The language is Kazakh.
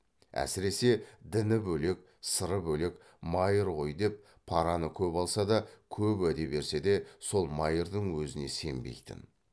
әсіресе діні бөлек сыры бөлек майыр ғой деп параны көп алса да көп уәде берсе де сол майырдың өзіне сенбейтін